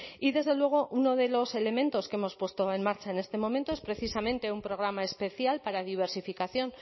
y desde luego uno de los elementos que hemos puesto en marcha en este momento es precisamente un programa especial para diversificación